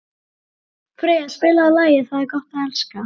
Freyja, spilaðu lagið „Það er gott að elska“.